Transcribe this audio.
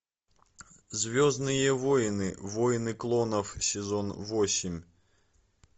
звездные войны войны клонов сезон восемь